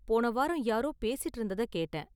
போன வாரம் யாரோ பேசிட்டு இருந்தத கேட்டேன்.